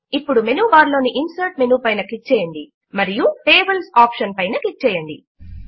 ఇప్పుడు menu bar లోని insert menu పైన క్లిక్ చేయండి మరియు టేబుల్స్ ఆప్షన్ పైన క్లిక్ చేయండి